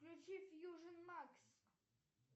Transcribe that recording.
включи фьюжен макс